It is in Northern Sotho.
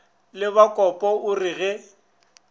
la bakopa o re ge